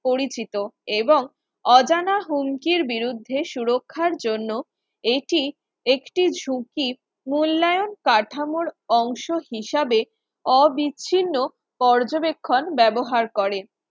পরিচিত এবং অজানা হুমকির বিরুদ্ধে সুরক্ষার জন্য এটি একটি ঝুঁকি মূল্যায়ন কাঠামোর অংশ হিসেবে অবিস্তীর্ণ পর্যবেক্ষণ ব্যবহার করে